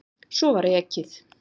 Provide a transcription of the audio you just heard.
Svo var ekið.